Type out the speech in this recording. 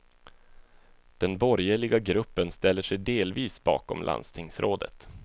Den borgerliga gruppen ställer sig delvis bakom landstingsrådet.